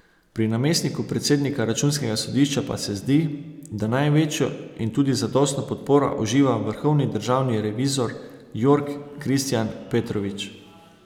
Pri namestniku predsednika računskega sodišča pa se zdi, da največjo in tudi zadostno podporo uživa vrhovni državni revizor Jorg Kristijan Petrovič.